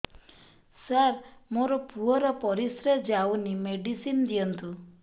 ସାର ମୋର ପୁଅର ପରିସ୍ରା ଯାଉନି ମେଡିସିନ ଦିଅନ୍ତୁ